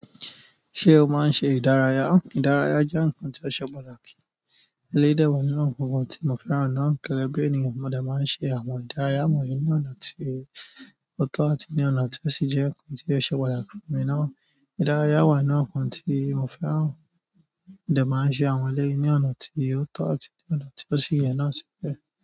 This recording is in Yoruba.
Ṣé o máa ń ṣe ìdárayá? Ìdárayá jẹ́ nǹkan tí ó ṣe pàtàkì. Eléyìí dè wà nínú nǹkankan tí mo fẹ́ràn náà, gẹ́gẹ́ bí ènìyàn mo de máa ń ṣe àwọn ìdárayá wọ̀nyí ní ọ̀nà tí ó tọ́ àti ní ọ̀nà tí ó sì jẹ́ nǹkan tí ó ṣe pàtàkì fún mi náà. Ìdárayá wà ínú àwọn nǹkan tí mo fẹ́ràn, mo de máa ń ṣe àwọn ẹlẹ́yìí ní ọ̀nà tí ó tọ́ àti ní ọ̀nà tí ó sì yẹ náà sì bẹ́ẹ̀.